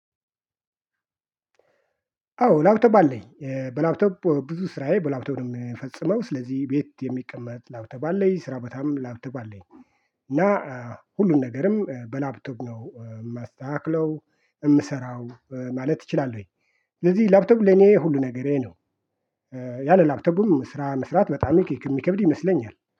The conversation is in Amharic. አዎ ላፕቶፕ አለኝ በላፕቶፕ ብዙ ስራዬ በላፕቶፕ ነው ሚፈጽመው ስለዚህ ቤት የሚቀመጥ ላፕቶፕ አለኝ ስራ ቦታም ላፕቶፕ አለኝ እና ሁሉን ነገርም በላፕቶፕ ነው የማስተካክለው የምሰራው ማለት እችላለሁኝ። ስለዚህ ላፕቶፕ ለኔ ሁሉ ነገሬ ነው። ያለ ላፕቶፕም ስራ መስራት በጣም የሚከብድ ይመስለኛል